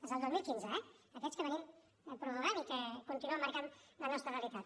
els del dos mil quinze eh aquests que prorroguem i que continuen marcant la nostra realitat